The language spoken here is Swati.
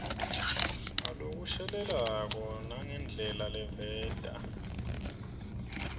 ngalokushelelako nangendlela leveta